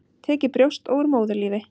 Tekið brjóst og úr móðurlífi.